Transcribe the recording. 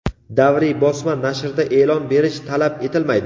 Davriy bosma nashrda e’lon berish talab etilmaydi.